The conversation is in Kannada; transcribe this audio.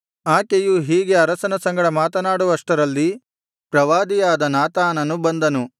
ಆಕೆಯು ಹೀಗೆ ಅರಸನ ಸಂಗಡ ಮಾತನಾಡುವಷ್ಟರಲ್ಲಿ ಪ್ರವಾದಿಯಾದ ನಾತಾನನು ಬಂದನು